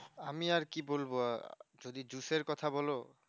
আমি আর কি বলবো যদি juice এর কথা বোলো